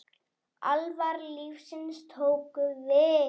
Alvara lífsins tók við.